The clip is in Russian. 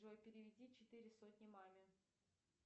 джой переведи четыре сотни маме